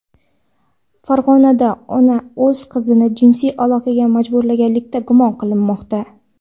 Farg‘onada ona o‘z qizini jinsiy aloqaga majburlaganlikda gumon qilinmoqda.